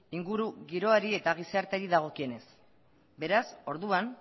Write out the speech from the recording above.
inguru giroari eta gizarteari dagokienez beraz orduan